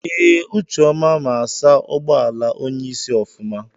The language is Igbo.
Ee, ucheọma ma asa ụgbọala onyeisi ofụma.